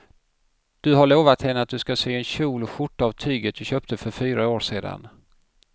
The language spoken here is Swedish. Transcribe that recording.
Du har lovat henne att du ska sy en kjol och skjorta av tyget du köpte för fyra år sedan.